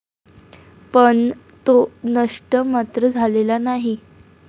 पण तो नष्ट मात्र झालेला नाही.